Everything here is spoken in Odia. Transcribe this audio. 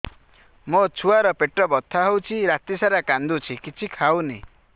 ମୋ ଛୁଆ ର ପେଟ ବଥା ହଉଚି ରାତିସାରା କାନ୍ଦୁଚି କିଛି ଖାଉନି